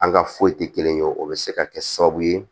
An ka foyi tɛ kelen ye o bɛ se ka kɛ sababu ye